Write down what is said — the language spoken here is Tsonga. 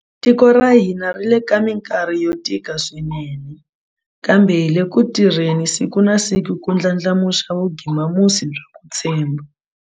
Tiko ra ka hina ri le ka mikarhi yo tika swinene, kambe hi le ku tirheni siku na siku ku ndlandlamuxa vugimamusi bya ku tshemba.